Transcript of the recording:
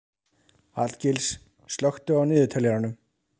Hallgils, slökktu á niðurteljaranum.